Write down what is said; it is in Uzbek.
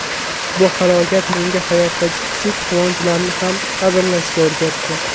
Bu halokat menga hayotdagi kichik quvonchlarni ham qadrlashga o‘rgatdi.